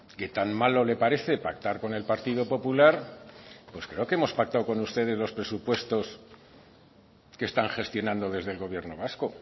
que tan malo le parece pactar con el partido popular pues creo que hemos pactado con ustedes los presupuestos que están gestionando desde el gobierno vasco